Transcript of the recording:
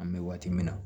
An bɛ waati min na